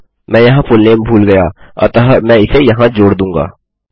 मैं यहाँ फुलनेम भूल गया अतः मैं इसे यहाँ जोड़ दूँगा